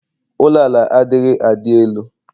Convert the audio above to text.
ụlọ ala adighị a dị elu